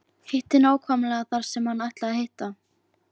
Hitti nákvæmlega þar sem hann ætlaði að hitta.